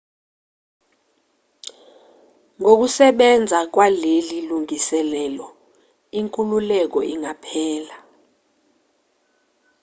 ngokusebenza kwaleli lungiselelo inkululeko ingaphela